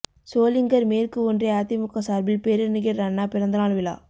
சோளிங்கர் மேற்கு ஒன்றிய அதிமுக சார்பில் பேரறிஞர் அண்ணா பிறந்தநாள் விழா